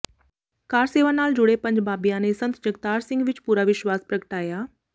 ਕਾਰ ਸੇਵਾ ਨਾਲ ਜੁੜੇ ਪੰਜ ਬਾਬਿਆਂ ਨੇ ਸਾਧ ਜਗਤਾਰ ਸਿੰਘ ਵਿਚ ਪੂਰਾ ਵਿਸ਼ਵਾਸ ਪ੍ਰਗਟਾਇਆ